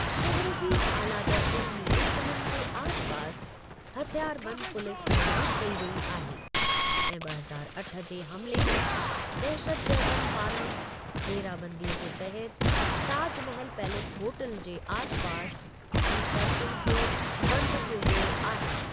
शहर जी आला दर्जे जी मंज़िलुनि जे आसिपासि हथियारबंदु पुलिस तैनात कई वेई आहे, ऐं ॿ हज़ारु अठ जे हमले में दहशतगर्दनि पाराँ घेराबंदी जे तहत ताजमहल पैलेस होटल जे आसपास जी सड़कुनि खे बंद कयो वियो आहे।